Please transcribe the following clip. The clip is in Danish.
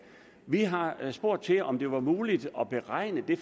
vi har spurgt til om det var muligt at regne det